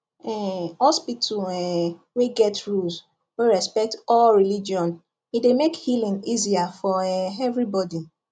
um hospital um wey get rules wey respect all religion e dey make healing easier for um everybody